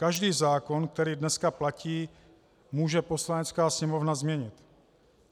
Každý zákon, který dneska platí, může Poslanecká sněmovna změnit.